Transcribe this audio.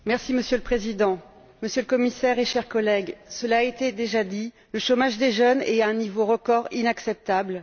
Monsieur le Président, Monsieur le Commissaire, chers collègues, cela a été déjà dit, le chômage des jeunes atteint un niveau record inacceptable.